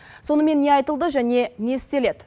сонымен не айтылды және не істеледі